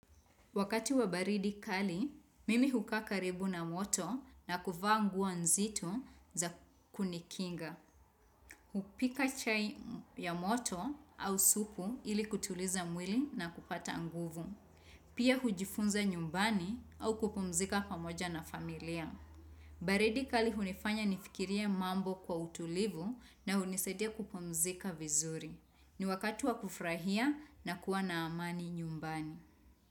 Wakati wa baridi kali, mimi hukaa karibu na moto na kuvaa nguo nzito za kunikinga. Hupika chai ya moto au supu ili kutuliza mwili na kupata nguvu. Pia hujifunza nyumbani au kupumzika pamoja na familia. Baridi kali hunifanya nifikirie mambo kwa utulivu na hunisadia kupumzika vizuri. Ni wakati wa kufurahia na kuwa na amani nyumbani.